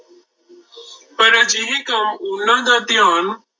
ਪਰ ਅਜਿਹੇ ਕੰਮ ਉਹਨਾਂ ਦਾ ਧਿਆਨ